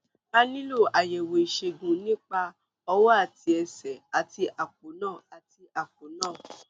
a nílò àyẹwò ìṣègùn nípa ọwọ àti ẹsẹ àti àpò náà àti àpò náà